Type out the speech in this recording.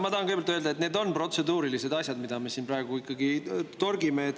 Ma tahan kõigepealt öelda, et need on protseduurilised asjad, mida me siin praegu ikkagi torgime.